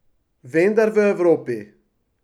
Vendar v Evropi.